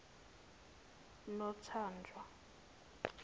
nothanjwa